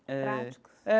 Eh. Práticos. É.